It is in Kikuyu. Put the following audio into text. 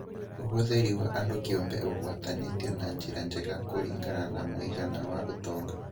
Ũhũthĩri wa andu kĩũmbe ũgwatanĩtio na njĩra njega kũringana na mũigana wa ũtonga